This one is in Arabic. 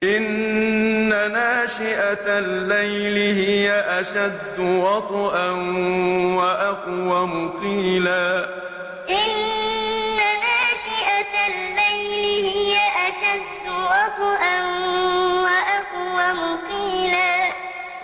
إِنَّ نَاشِئَةَ اللَّيْلِ هِيَ أَشَدُّ وَطْئًا وَأَقْوَمُ قِيلًا إِنَّ نَاشِئَةَ اللَّيْلِ هِيَ أَشَدُّ وَطْئًا وَأَقْوَمُ قِيلًا